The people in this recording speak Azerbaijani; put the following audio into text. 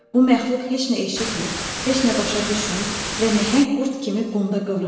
Bu məxluq heç nə eşitmir, heç nə başa düşmür və nəhəng qurd kimi qumda qıvrılırdı.